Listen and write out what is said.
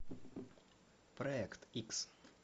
проект икс